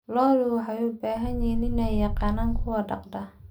Lo'da waxay u baahan yihiin in ay yaqaanaan kuwa dhaqda.